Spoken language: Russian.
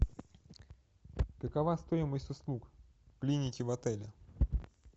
какова стоимость услуг клиники в отеле